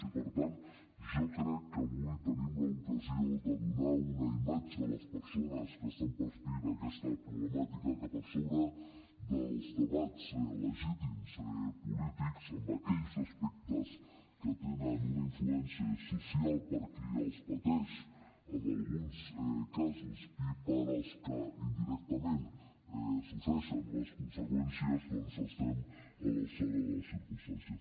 i per tant jo crec que avui tenim l’ocasió de donar una imatge a les persones que estan patint aquesta problemàtica que per sobre dels debats legítims polítics en aquells aspectes que tenen una influència social per qui els pateix en alguns casos i per als que indirectament en pateixen les conseqüències doncs estem a l’alçada de les circumstàncies